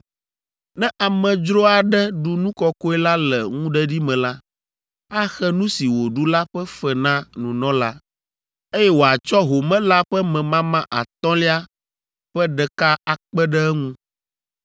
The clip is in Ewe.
“ ‘Ne amedzro aɖe ɖu nu kɔkɔe la le ŋuɖeɖi me la, axe nu si wòɖu la ƒe fe na nunɔla, eye wòatsɔ home la ƒe memama atɔ̃lia ƒe ɖeka akpe ɖe eŋu,